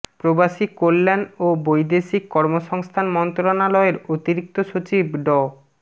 প্রবাসী কল্যাণ ও বৈদেশিক কর্মসংস্থান মন্ত্রণালয়ের অতিরিক্ত সচিব ড